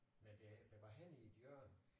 Men det det var henne i et hjørne